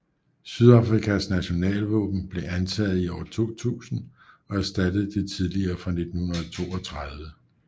Sydafrikas nationalvåben blev antaget i år 2000 og erstattede det tidligere fra 1932